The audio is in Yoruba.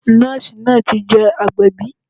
Nọ́ọ̀sì náà ti je agbẹ̀bí